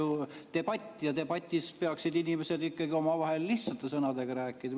See on ju debatt ja debatis peaksid inimesed omavahel lihtsate sõnadega rääkima.